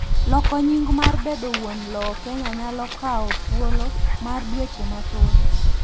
loko nying mar bedo wuon lowo Kenya nyalo kawo thuolo mar dueche mathoth